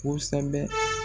Kosɛbɛ.